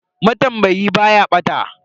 Matambayi ba ya bata.